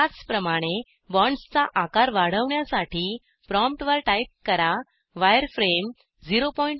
त्याचप्रमाणे बॉन्ड्सचा आकार वाढवण्यासाठी प्रॉमप्टवर टाईप करा वायरफ्रेम 01